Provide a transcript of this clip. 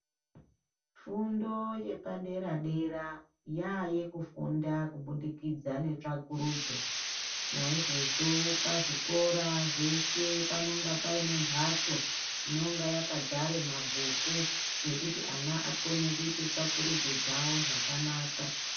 Fundo yepadera-dera yaayekufunda kubudikidza netsvakurudzo. Naizvozvo pazvichikora zveshe panonga paine mbatso inonga yakadzare mabhuku ekuti ana akone kuite tsvakururudzo dzawo zvakanaka.